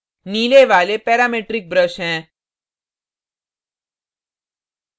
नीले वाले parametric brush हैं